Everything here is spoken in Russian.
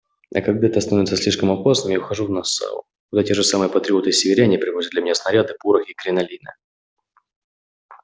а когда это становится слишком опасным я ухожу в нассау куда те же самые патриоты-северяне привозят для меня снаряды порох и кринолины